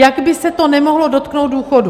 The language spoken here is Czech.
Jak by se to nemohlo dotknout důchodů?